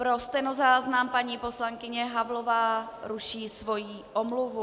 Pro stenozáznam, paní poslankyně Havlová ruší svoji omluvu.